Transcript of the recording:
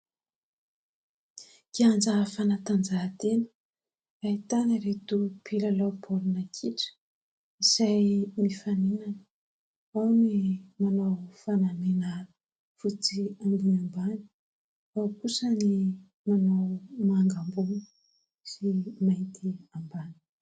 Kianja fanatanjahantena ahitana ireto mpilalao baolina kitra izay mifaninana, ao ny manao fanamihana fotsy ambony ambany, ao kosa ny manao manga ambony sy mainty ambany.